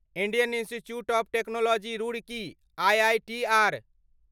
Indian Institute of Technology Roorkee IITR